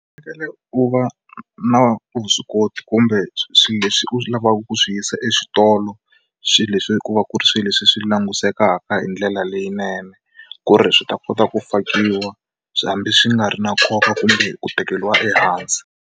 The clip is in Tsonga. Fanekele u va na vuswikoti kumbe swilo leswi u lavaka ku swi yisa exitolo swilo leswi ku va ku ri swilo leswi swi langusekaka hi ndlela leyinene ku ri swi ta kota ku fakiwa hambi swi nga ri na nkoka kumbe ku tekeriwa ehansi.